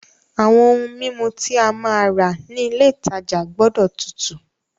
Àwọn ohun mímu tí a máa rà ní ilé ìtajà gbọ́dọ̀ tutù.